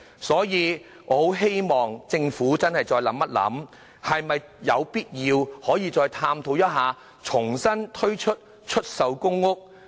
所以，我希望政府思考一下，是否有必要探討重推出售公屋。